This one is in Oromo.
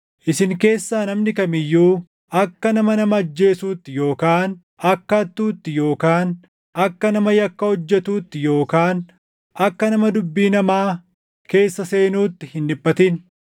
Isin keessaa namni kam iyyuu akka nama nama ajjeesuutti yookaan akka hattuutti yookaan akka nama yakka hojjetuutti yookaan akka nama dubbii namaa keessa seenuutti hin dhiphatin.